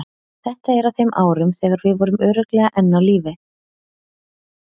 Þetta er á þeim árum þegar við vorum örugglega enn á lífi.